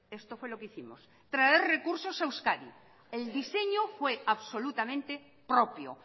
esto fue lo que hicimos traer recursos a euskadi el diseño fue absolutamente propio